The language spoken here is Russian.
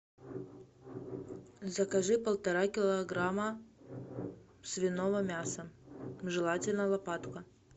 закажи полтора килограмма свиного мяса желательно лопатка